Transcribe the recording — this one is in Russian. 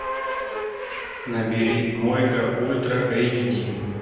набери мойка ультра эйч ди